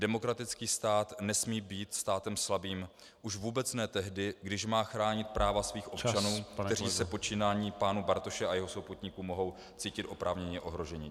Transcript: Demokratický stát nesmí být státem slabým, už vůbec ne tehdy, když má chránit práva svých občanů , kteří se počínáním pana Bartoše a jeho souputníků mohou cítit oprávněně ohroženi.